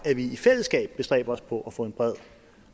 at vi i fællesskab bestræber os på at få en bred